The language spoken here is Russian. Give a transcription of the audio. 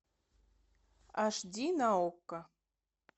аш ди на окко